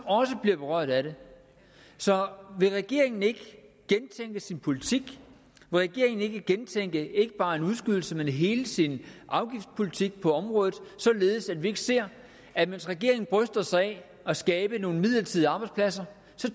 også berørt af det så vil regeringen ikke gentænke sin politik vil regeringen ikke gentænke ikke bare en udskydelse men hele sin afgiftspolitik på området således at vi ikke ser at mens regeringen bryster sig af at skabe nogle midlertidige arbejdspladser